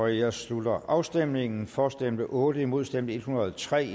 jeg slutter afstemningen for stemte otte imod stemte en hundrede og tre